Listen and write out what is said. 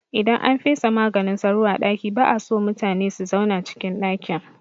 Idan an fesa maganin sauro a ɗaki ba'a so mutune su zauna cikin ɗakin